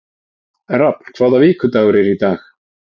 Rafn, hvaða vikudagur er í dag?